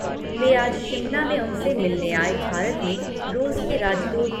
वे आज शिमला में उनसे मिलने आए भारत में रूस के राजदूत